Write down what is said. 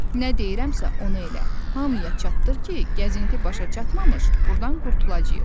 Nə deyirəmsə onu elə, hamıya çatdır ki, gəzinti başa çatmamış burdan qurtulacağıq.